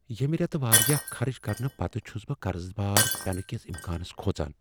ییٚمہ ریتہٕ واریاہ خرٕچ کرنہٕ پتہٕ چھس بہٕ قرضہ بار پینہ کس امکانس کھوژان۔